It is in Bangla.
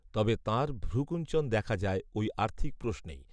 তবে তাঁর ভ্রূকূঞ্চন দেখা যায় ওই আর্থিক প্রশ্নেই